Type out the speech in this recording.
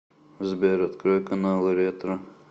сбер открой каналы ретро